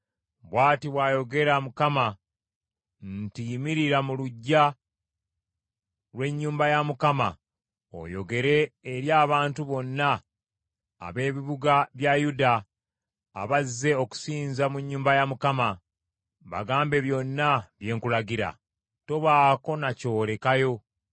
“Bw’ati bw’ayogera Mukama nti, Yimirira mu luggya lw’ennyumba ya Mukama oyogere eri abantu bonna ab’ebibuga bya Yuda abazze okusinza mu nnyumba ya Mukama . Bagambe byonna bye nkulagira; tobaako na ky’olekayo.